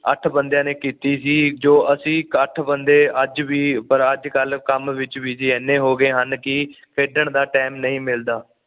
ਅੱਠ ਬੰਦਿਆਂ ਨੇ ਕੀਤੀ ਸੀ ਜੋ ਅਸੀਂ ਅੱਠ ਬੰਦੇ ਅੱਜ ਵੀ ਪਰ ਅੱਜ ਕੱਲ ਕੰਮ ਵਿੱਚ ਏਨੇ ਹੋ ਗਏ ਹਨ ਕਿ ਖੇਡਣ ਦਾ ਟਾਈਮ ਨਹੀਂ ਮਿਲਦਾ